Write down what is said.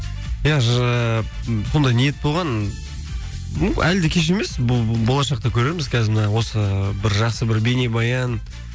иә ондай ниет болған әлі де кеш емес болашақта көрерміз қазір мына осы бір жақсы бір бейнебаян